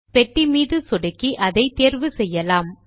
பெட்டி மீது சொடுக்கி அதை தேர்வு செய்யலாம்